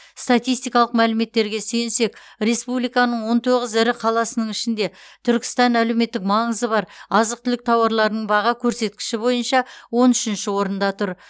статистикалық мәліметтерге сүйенсек республиканың он тоғыз ірі қаласының ішінде түркістан әлеуметтік маңызы бар азық түлік тауарларының баға көрсеткіші бойынша он үшінші орында тұр